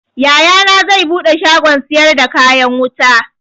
Yayana zai buɗe shagon siyar da kayan wuta